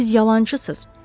Siz yalançısız.